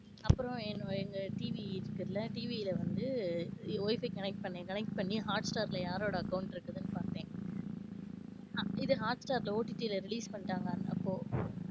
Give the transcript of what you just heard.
அப்பறம் என்னோட் எங்க TV இருக்குல TV ல வந்து wifi connect பண்ணேன். Connect பண்ணி hotstar ல யாரோட account இருக்குதுனு பாத்தேன். ஆஹ் இது hotstar ல OTT ல ரிலீஸ் பண்ணிட்டாங்க அப்போ.